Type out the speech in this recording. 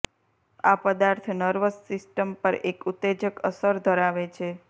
આ પદાર્થ nervous system પર એક ઉત્તેજક અસર ધરાવે છે